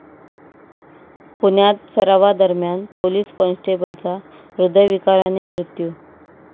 पुण्यात सरावादरम्यान पोलीस कॉन्स्टेबलचा हृदयविकाराने मृत्यू